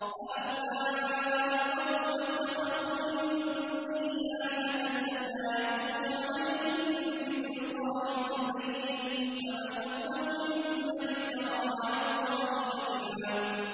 هَٰؤُلَاءِ قَوْمُنَا اتَّخَذُوا مِن دُونِهِ آلِهَةً ۖ لَّوْلَا يَأْتُونَ عَلَيْهِم بِسُلْطَانٍ بَيِّنٍ ۖ فَمَنْ أَظْلَمُ مِمَّنِ افْتَرَىٰ عَلَى اللَّهِ كَذِبًا